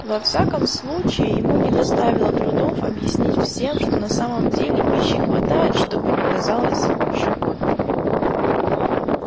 во всяком случае ему не доставило трудов объяснить всем что на самом деле пищи хватает что бы ни казалось животным